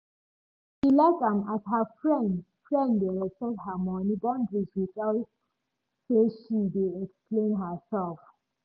she like am as her friend friend dey respect her money boundaries without say she dey explain herself